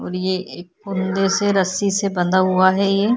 और ये एक फुंदे से रस्सी से बंधा हुआ है ये --